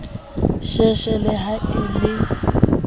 sheshe le ha e le